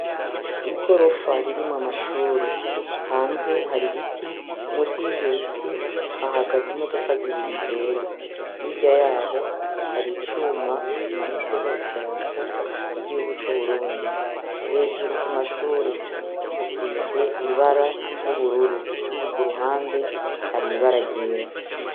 igorofa ririmo amashure hanze hari biti munsi yivyobiti hahagaze imodoka zibiri zera higa yaho hari icuma kimanitseho idarapo y'igihugu c'uburundi hejuru ku mashure hasize ibara ry'ubururu ku ruhande hari ibara ryera